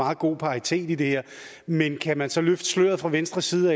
meget god paritet i det her men kan man så fra venstres side